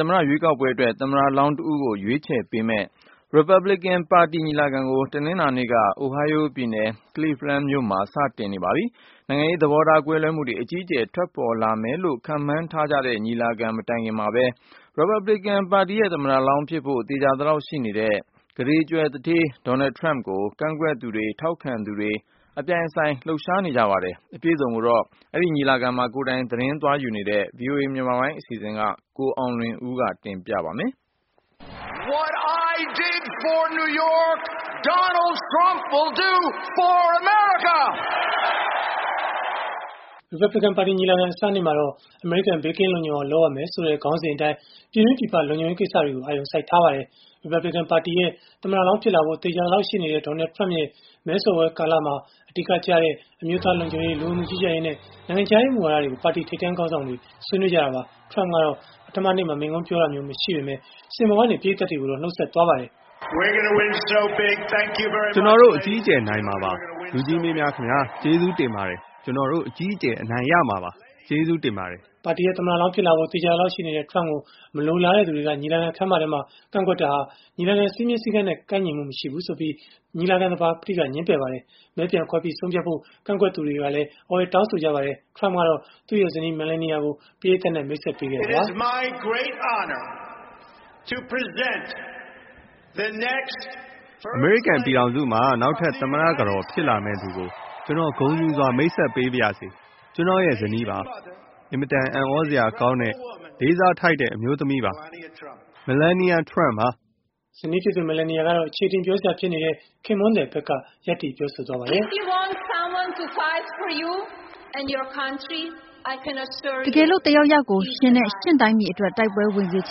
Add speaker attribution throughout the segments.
Speaker 1: သမ္မတရွေးကောက်ပွဲအတွက် ကိုယ်စားပြုယှဉ်ပြိုင်မယ့် သမ္မတလောင်း တဦးကို ရွေးချယ်မယ့် Republican ပါတီညီလာခံ တနင်္လာနေ့မှာပဲ Ohio ပြည်နယ်၊ Cleveland မြို့မှာ စတင်ခဲ့ပါတယ်။ နိုင်ငံရေး သဘောထားကွဲလွဲမှုတွေ အကြီးအကျယ် ထွက်ပေါ်လာမယ့်လို့ ခန့်မှန်းထားကြတဲ့ ညီလာခံ မတိုင်ခင်မှာပဲ Republican ပါတီရဲ့ သမ္မတလောင်းဖြစ်ဖို့ သေချာသလောက် ရှိနေတဲ့ ကုဋေကြွယ်သူဌေး Donald Trump ကို ကန့်ကွက်သူတွေ ထောက်ခံသူတွေ အပြိုင်အဆိုင် လှုပ်ရှားနေကြပါတယ်။ အပြည့်အစုံကို ညီလာခံကို ကိုယ်တိုင် သတင်းသွားယူတဲ့ VOA မြန်မာပိုင်းအစီအစဉ်က ကိုအောင်လွင်ဦးက တင်ပြပါလိမ့်မယ်။ Republican
Speaker 2: ပါတီညီလာခံ အစနေ့မှာတော့ အမေရိကန် ဘေးကင်းလုံခြုံအောင် လုပ်ရမယ်ဆိုတဲ့ ခေါင်းစဉ်အတိုင်း ပြည်တွင်းပြည်ပ လုံခြုံရေး ကိစ္စတွေကို အာရုံစိုက်ထားပါတယ်။ Republican ပါတီရဲ့ သမ္မတလောင်း ဖြစ်လာဖို့ သေချာသလောက် ရှိနေတဲ့ Donald Trump ရဲ့ မဲဆွယ်ပွဲကာလမှာ အဓိကကျတဲ့ အမျိုးသား လုံခြုံရေး၊ လူဝင်မှုကြီးကြပ်ရေးနဲ့ နိုင်ငံခြားရေးမူဝါဒတွေကို ပါတီထိပ်တန်း ခေါင်းဆောင်တွေ ဆွေးနွေးကြတာပါ။ Donald Trump ကတော့ ပထမနေ့မှာ မိန့်ခွန်းပြောဆိုခြင်း မရှိပါဘူး စင်ပေါ်ကနေ ပရိသတ်ကိုတော့ အခုလို နှတ်ဆက်သွားပါတယ်။
Speaker 1: “ကျနော်တို့ အ
Speaker 2: ကြီးအကျယ် နိုင်မှာပါ လူကြီးမင်းများခင်ဗျား။ ကျေးဇူးတင်ပါတယ်။ ကျနော်တို့ အကြီးအကျယ် အနိုင်ရမှာပါ။ ကျေးဇူးတင်ပါတယ်။” ပါတီရဲ့ သမ္မတလောင်းဖြစ်လာဖို့ သေချာသလောက် ရှိနေတဲ့ Donald Trump ကို မလိုလားတဲ့သူတွေက ညီလာခံ ခန်းမအတွင်း ကန့်ကွက်ကြတာဟာ ညီလာခံ စည်းမျဉ်း စည်းကမ်းနဲ့ ကိုက်ညီမှု မရှိဘူးဆိုပြီး ညီလာခံ သဘာပတိ ငြင်းပယ်ခဲ့ပါတယ်။ မဲပြန်ခွဲပြီး ဆုံးဖြတ်ဖို့ ကန့်ကွက်သူတွေ အော်ဟစ် တောင်းဆိုခဲ့ကြပါတယ်။ Donald Trump ကတော့သူ့ရဲ့ဇနီး Melania ကို ပရိသတ်နဲ့ မိတ်ဆက်ပေးပါတယ်
Speaker 1: ။ “အမေရိကန်ပြည်
Speaker 2: ထောင်စုမှာ နောက်ထပ် သမ္မတကတော်ဖြစ်လာမယ့်သူကို ကျနော် ဂုဏ်ယူစွာ မိတ်ဆက်ပေးပါရစေ။ ကျနော့ရဲ့ ဇနီးပါ။ အင်မတန် အံသြစရာကောင်းတဲ့ လေးစားထိုက်တဲ့ အမျိုးသမီးပါ။ Melania Trump ပါ။” ဇနီးဖြစ်တဲ့ Melania ကတော့ အခြေအတင် ပြောစရာ ဖြစ်နေတဲ့ ခင်ပွန်းသည်ဘက်က ရပ်တည်ပြောဆိုခဲ့တာပါ။
Speaker 1: “
Speaker 2: တကယ်လို့တယောက်ယောက်ကို ရှင်နဲ့ ရှင့်တိုင်းပြည်အတွက် တိုက်ပွဲဝင်စေချ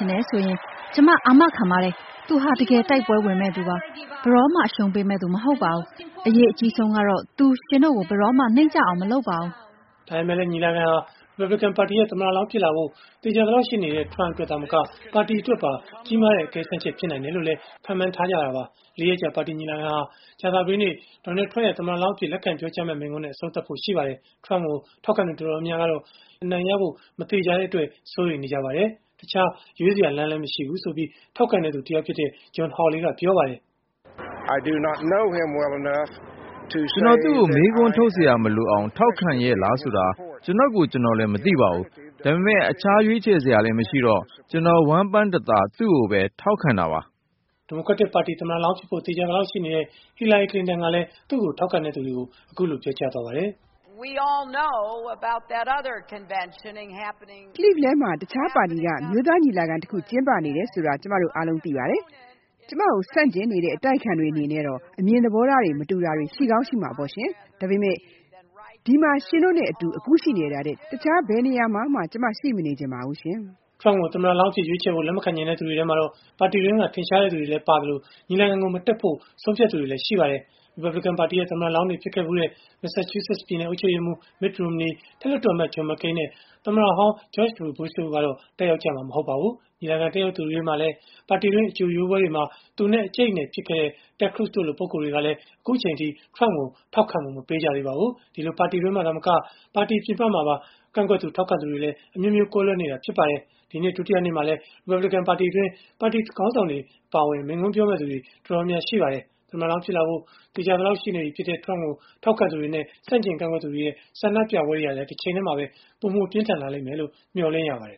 Speaker 2: င်တယ်ဆိုရင်၊ ကျမ အာမခံပါတယ်။ သူဟာ တကယ် တိုက်ပွဲဝင်မယ့်သူပါ။ ဘယ်တော့မှ အရှုံးပေးမယ့်သူ မဟုတ်ပါဘူး။ အရေးအကြီးဆုံးကတော့ သူ ရှင်တို့ကို ဘယ်တော့မှ နိမ့်ကျအောင် မလုပ်ပါဘူး။” ဒါပေမဲ့လည်း ဒီညီလာခံဟာ Republican ပါတီရဲ့ သမ္မတလောင်း ဖြစ်လာဖို့ သေချာသလောက် ရှိနေတဲ့ Donald Trump အတွက် သာမက ပါတီအတွက်ပါ ကြီးမားတဲ့ အကဲစမ်းချက် ဖြစ်လာနိုင်တယ်လို့ လေ့လာသူတွေက ခန့်မှန်းထားကြတာပါ။ လေးရက်ကြာ ပါတီညီလာခံဟာ ကြာသာပတေးနေ့ Donald Trump ရဲ့ သမ္မတလောင်းအဖြစ် လက်ခံပြောကြားမယ့် မိန့်ခွန်းနဲ့ အဆုံးသတ်မှာ ဖြစ်ပါတယ်။ Trumpကို ထောက် ခံသူ တော်တော်များများကတော့ ပြိုင်ဘက် ဒီမိုကရက်တစ်ပါတီက ဟီလာရီလင်တန်ကို အနိုင်ရဖို့ မသေချာတဲ့အတွက် စိုးရိမ်မှုတွေ ရှိနေကြပါတယ်။ တခြားရွေးချယ်စရာ မရှိဘူးလို့လည်း ထောက်ခံသူတယောက်ဖြစ်တဲ့ John Hawley က အခုလို ပြောပါတယ်။ “ကျနော်သူ့ကို
Speaker 1: မေးခွန်းထုတ်စရာမလိုအောင် ထောက်ခံရဲ့လားဆိုတာ ကျနော်ကိုယ် ကျနော်လည်း မသိပါဘူး။ ဒါပေမယ့် တခြားရွေးချယ်စရာလည်း မရှိတော့၊ ကျနော် ဝမ်းပမ်းတသာ သူ့ကိုပဲ ထောက်ခံတာပါ။
Speaker 2: ” ဒီမိုကရက်တစ်ပါတီ သမ္မတလောင်းဖြစ်ဖို့ သေချာနေတဲ့ ဟီလာရီကလင်တန်ကလည်း သူ့ကို ထောက်ခံသူတွေကို အခုလို ပြောပါတယ်။ “Cleveland မှာ တခြားပါတီက အမျိုးသားညီလာခံ တခု ကျင်းပနေတာ ကျမတို့ အားလုံး သိပါတယ်။ ကျမကို ဆန့်ကျင်တဲ့ အတိုက်အခံတွေအနေနဲ့တော့ အမြင်သဘောထား မတူတာတွေ ရှိကောင်းရှိပါလိမ့်မယ်။ ဒါပေမယ့် ဒီမှာ ရှင်တို့နဲ့ အတူအခုရှိနေတာထက် တခြား ဘယ်နေရာမှ ကျမ ရှိမနေချင်ပါဘူး။” Trump ကို သမ္မတလောင်းအဖြစ် ရွေးချယ်ဖို့ လက်မခံချင်တဲ့ သူတွေထဲမှာတော့ ပါတီတွင်းက ထင်ရှားသူတွေလည်း ပါဝင်နေသလို၊ ညီလာခံကို မတက်ဖို့ ဆုံးဖြတ်သူတွေလည်း ရှိပါတယ်။ ရီပတ်ဘလစ်ကန်ပါတီရဲ့ သမ္မတလောင်းတွေ ဖြစ်ခဲ့ဖူးတဲ့ မက်ဆာချုးဆက်ပြည်နယ် အုပ်ချုပ်ရေးမှူး Mitt Romney အထက်လွှတ်တော်အမတ် John McCain နဲ့ သမ္မတဟောင်း George W. Bush တို့ကတော့ တက်ရောက်ကြမှာ မဟုတ်ပါဘူး။ ညီလာခံတက်ရောက်သူတွေထဲမှာလည်း ပါတီတွင်း အကြိုရွေးပွဲတွေမှာ သူနဲ့ အကြိတ်အနယ် ဖြစ်ခဲ့တဲ့ Ted Cruz တို့လို ပုဂ္ဂိုလ်တွေကလည်း အခုအချိန်အထိ Trump ကို ထောက်ခံမှု မပေးကြသေးပါဘူး။ ဒီလို ပါတီတွင်းမှာ သာမက ပါတီပြင်ပမှာပါ ကန့်ကွက်သူ ထောက်ခံသူတွေလည်း အမျိုးမျိုး ကွဲလွဲနေကြတာ ဖြစ်ပါတယ်။ ဒီနေ့ ဒုတိယနေ့မှာလည်း ရီပတ်ဗလစ်ကန်ညီလာခံအတွင်း ပါတီခေါင်းဆောင်တွေ အပါအဝင် မိန့်ခွန်းပြောမယ့်သူတွေ တော်တေ်ာများ ရှိနေပါတယ်။ သမ္မတလောင်းဖြစ်လာဖို့ သေချာသလောက်ရှိနေတဲ့ Donald Trump ကို ထောက်ခံသူတွေနဲ့ ဆန့်ကျင် ကန့်ကွက်သူတွေရဲ့ ဆန္ဒပြပွဲတွေလည်း ပိုပြီး ပြင်းထန်လာမယ်လို့ မျှော်လင့်ရပါတယ်